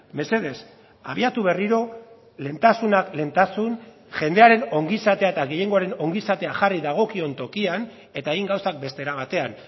mesedez abiatu berriro lehentasunak lehentasun jendearen ongizatea eta gehiengoaren ongizatea jarri dagokion tokian eta egin gauzak beste era batean